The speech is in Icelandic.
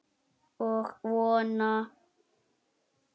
Og vona.